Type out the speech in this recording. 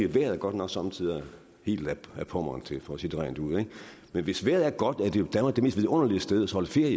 vejret er godt nok somme tider helt ad pommern til for at sige det rent ud men hvis vejret er godt er danmark jo det mest vidunderlige sted at holde ferie